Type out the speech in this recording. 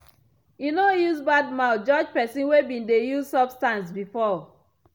e no use bad mouth judge pesin wey been dey use substance before.